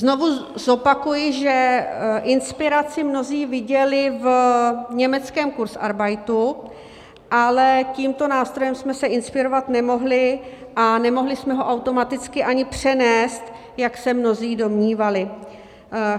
Znovu zopakuji, že inspiraci mnozí viděli v německém kurzarbeitu, ale tímto nástrojem jsme se inspirovat nemohli a nemohli jsme ho automaticky ani přenést, jak se mnozí domnívali.